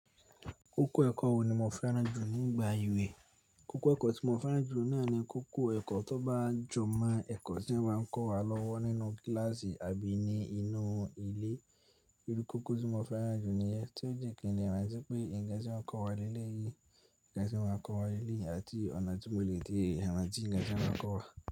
Kókó ẹ̀kọ́ wo ni mo fẹ́ràn jù nígbà ìwé? Kókó ẹ̀kọ́ tí mo fẹ́ràn jù ní àní kókó ẹ̀kọ́ tó bá jọmọ́ ẹ̀kọ́ tí wọ́n máa ń kọ́ wa lọ́wọ́ nínú kíláàsì àbí ni inú ilé. Irú kókó tí mo fẹ́ràn jù nìyẹn tún jí kín lè rántí pé ǹkan tí wọ́n ń kọ́ wa leleyìí, ǹkan tí wọ́n máa ń kọ́ wa ní leleyii àti ọ̀nà tí mo lè tètè rántí ǹkan tí wọ́n báa kọ́ wa.